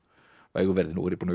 vægu verði nú er ég búinn